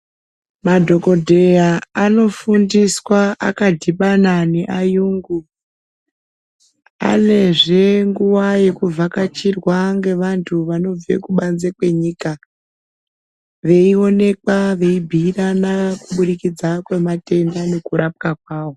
Madhokodheya anofundiswa akadhibana neayungu .Anezve nguwa yekuvhakachirwa ngevantu vanobve kubanze kwenyika ,veionekwa veibhiirana kubudikidza kwematenda nekurapwa kwawo.